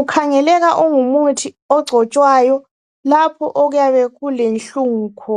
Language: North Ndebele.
ukhangeleka ungumuthi ogcotshwayo lapho okuyabe kule nhlungu khona.